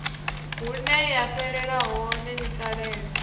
huneya fhelela hone ni talele